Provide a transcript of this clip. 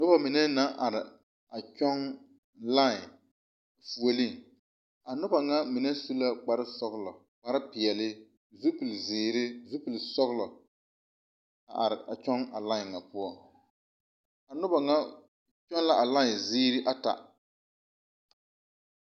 Noba mine na are a kyɔŋ lae fuolii a noba ŋa mine su la kpar sɔgelɔ kpar peɛle zupile zeere zupile sɔgelɔ are a kyɔŋ a lae ŋa poɔ noba ŋa poŋ la a lae ziiri ata